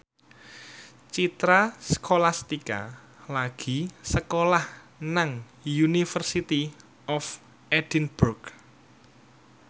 Citra Scholastika lagi sekolah nang University of Edinburgh